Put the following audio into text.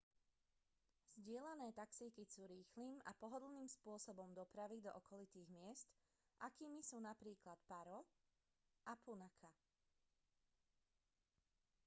zdieľané taxíky sú rýchlym a pohodlným spôsobom dopravy do okolitých miest akými sú napríklad paro nu 150 a punakha nu 200